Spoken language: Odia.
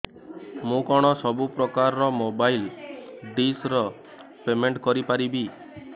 ମୁ କଣ ସବୁ ପ୍ରକାର ର ମୋବାଇଲ୍ ଡିସ୍ ର ପେମେଣ୍ଟ କରି ପାରିବି